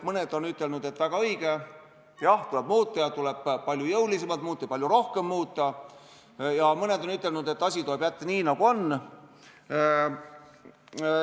Mõned on ütelnud, et väga õige, jah, tuleb muuta ja tuleb palju jõulisemalt muuta ja palju rohkem muuta, aga mõned on ütelnud, et asi tuleb jätta nii, nagu on.